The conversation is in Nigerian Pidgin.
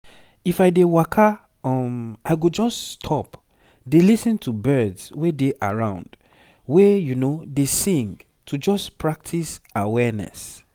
if i dey waka um i go just stop dey lis ten to birds wey dey around wey dey sing to just practice awareness